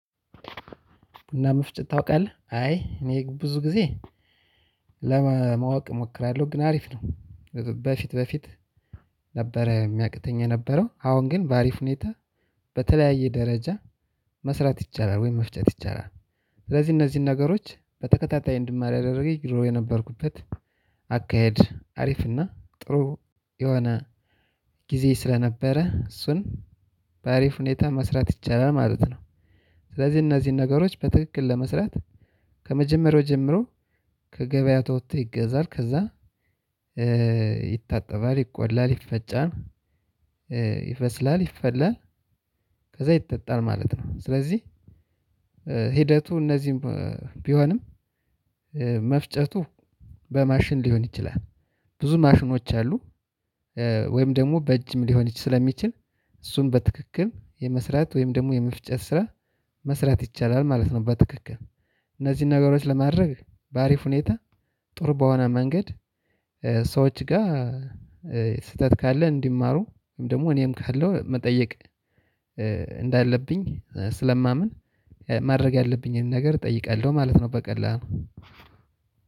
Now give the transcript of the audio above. እና መፍጨት ታውቃለህ አይ እኔ ብዙ ጊዜ ለማወቅ እሞክራለሁ ግን አሪፍ ነው። በፊት በፊት ነበረ የሚያቅተኝ የነበረው አሁን ግን በአሪፍ ሁኔታ በተለያየ ደረጃ መስራት ይቻላል ወይም መፍጨት ይቻላል። ስለዚህ እነዚህን ነገሮች በተከታታይ እንድማር ያደረገኝ ድሮ የነበርኩበት አካሄድ አሪፍ እና ጥሩ የሆነ ጊዜ ስለነበረ እሱን በአሪፍ ሁኔታ መስራት ይቻላል ማለት ነው። ስለዚህ እነዚህን ነገሮች በትክክል ለመስራት ከመጀመሪያው ጀምሮ ከገበያ ተወጥቶ ይገዛል ከዛ ይታጠባል ይቆላል ይፈጫል ይበስላል ይፈላል ከዛ ይጠጣል ማለት ነው። ስለዚህ ሂደቱ እንደዚ ቢሆንም መፍጨቱ በማሽን ሊሆን ይችላል ብዙ ማሽኖች አሉ። ወይም ደግሞ በእጅም ሊሆን ስለሚችል እሱን በትክክል የመስራት ወይም ደግሞ የመፍጨት ስራ መስራት ይቻላል ማለት ነው። በትክክል እነዚህን ነገሮች ለማድረግ በአሪፍ ሁኔታ ጥሩ በሆነ መንገድ ሰዎች ጋር ስህተት ካለ እንዲማሩ ወይም ደግሞ እኔም ካለው መጠየቅ እንዳለብኝ ስለማምን ማድረግ ያለብኝን ነገር እጠይቃለሁ ማለት ነው። በቀላሉ